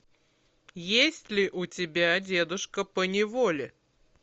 есть ли у тебя дедушка поневоле